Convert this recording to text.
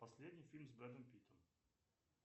последний фильм с бредом питом